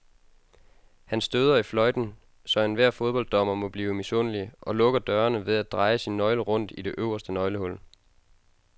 Han støder i fløjten, så enhver fodbolddommer må blive misundelig, og lukker dørene ved at dreje sin nøgle rundt i det øverste nøglehul.